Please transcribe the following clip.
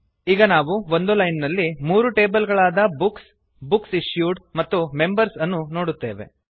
ಈಗ ನಾವು ಒಂದು ಲೈನ್ ನಲ್ಲಿ ಮೂರು ಟೇಬಲ್ ಗಳಾದ ಬುಕ್ಸ್ ಬುಕ್ಸ್ ಇಶ್ಯೂಡ್ ಮತ್ತು ಮೆಂಬರ್ಸ್ ಅನ್ನು ನೋಡುತ್ತೇವೆ